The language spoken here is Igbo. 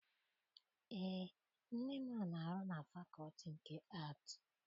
Eé, nne m na- arụ na fakọọtị nke Aatị.